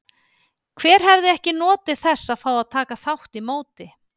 Hver hefði ekki notið þess að fá að taka þátt í móti?